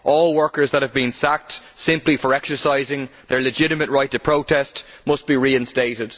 All workers that have been sacked simply for exercising their legitimate right to protest must be reinstated.